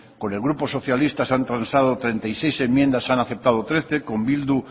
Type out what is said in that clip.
con el grupo socialista se han transado treinta y seis enmiendas se han aceptado trece con bildu